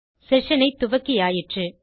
session ஐ துவக்கியாயிற்று